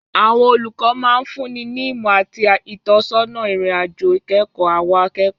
Àwọn olùkọ́ máa ń fúnni ní ìmọ̀ àti ìtọ́sọ́nà ìrìn-àjò ìkẹ́kọ̀ọ́ àwọn akẹ́kọ̀ọ́.